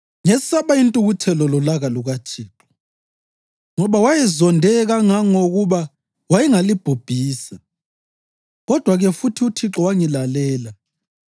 Ngesaba intukuthelo lolaka lukaThixo, ngoba wayezonde kangangokuba wayengalibhubhisa. Kodwa-ke futhi uThixo wangilalela.